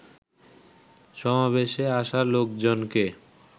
সমাবেশে আসা লোকজনকে